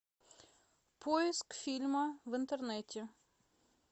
поиск фильма в интернете